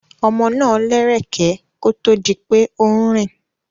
Ọmọ náà lẹ́rẹ̀kẹ́ kó tó di pé ó ń rìn.